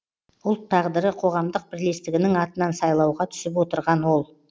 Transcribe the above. ұлт тағдыры қоғамдық бірлестігінің атынан сайлауға түсіп отырған ол